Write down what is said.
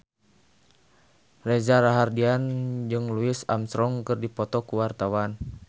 Reza Rahardian jeung Louis Armstrong keur dipoto ku wartawan